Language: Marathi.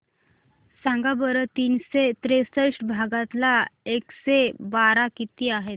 सांगा बरं तीनशे त्रेसष्ट भागीला एकशे बारा किती आहे